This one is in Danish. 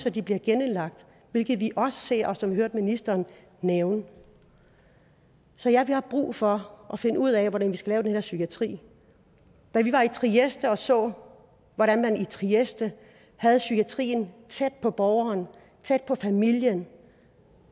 at de bliver genindlagt hvilket vi også ser og som vi hørte ministeren nævne så ja vi har brug for at finde ud af hvordan vi skal lave den her psykiatri da vi var i trieste og så hvordan man i trieste havde psykiatrien tæt på borgeren tæt på familien